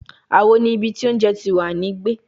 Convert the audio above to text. Awo ni ibi ti ounje ti wa ni gbe